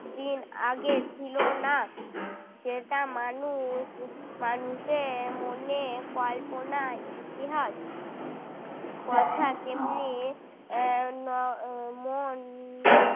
দিন আগে ছিল না যেটা মানুষ মানুষের মনে কল্পনায় ইতিহাস কথা তেমনি উম মন